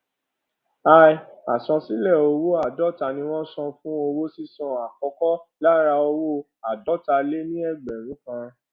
i àsansílẹ owó àádóta ni wọn san fún owó sísan àkọkọ lára owó àádótaléníẹgbẹrún kan